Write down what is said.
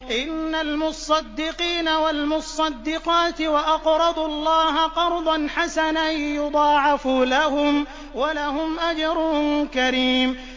إِنَّ الْمُصَّدِّقِينَ وَالْمُصَّدِّقَاتِ وَأَقْرَضُوا اللَّهَ قَرْضًا حَسَنًا يُضَاعَفُ لَهُمْ وَلَهُمْ أَجْرٌ كَرِيمٌ